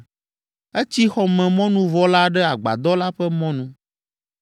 Etsi xɔmemɔnuvɔ la ɖe agbadɔ la ƒe mɔnu,